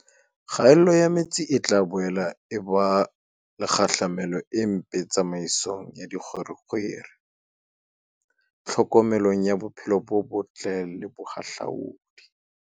Kgaello ya metsi e tla boela e ba le kgahlamelo e mpe tsamaisong ya dikgwerekgwere, tlhokomelong ya bophelo bo botle le bohahlaoding.